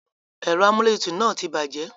Ẹ̀rọ amúlétutù náà ti bàjẹ́.